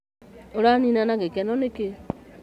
ũranina na githeko nĩkĩ?